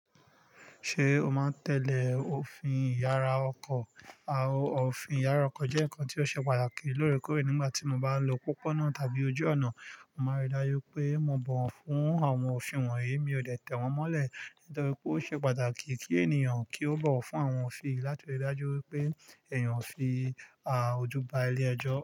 Ṣé o máa ń tẹ̀lé òfin ìyára ọkọ̀? Àwọn òfin ìyára ọkọ̀ jẹ́ nǹkan tí ó ṣe pàtàkì lóòrèkóòrè nígbà tí mo bá lo pópónà tàbí ojú ọ̀nà. Mo máa rí i dájú pé mo bọ̀ wọ́n fún àwọn òfin wọ̀nyí. Mi ò tẹ̀ wọ́n mọ́lẹ̀ nítorí pé ó ṣe pàtàkì kí ènìyàn kí ó bọ̀ wọ́n fún àwọn òfin láti rí i dájú wípé èèyàn ò fi a ojú ba ilé ẹjọ́